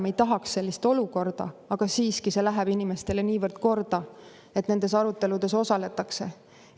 Me ei tahaks sellist olukorda, aga siiski see läheb inimestele niivõrd korda, et nendes aruteludes osaletakse.